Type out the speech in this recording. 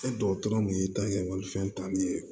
E dɔgɔtɔrɔ min y'i ta kɛ malifɛn ta nin ye